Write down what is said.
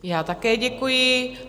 Já také děkuji.